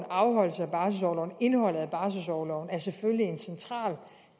afholdelse af barselsorloven og indholdet af barselsorloven er selvfølgelig en central